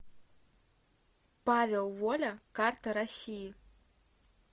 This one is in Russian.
павел воля карта россии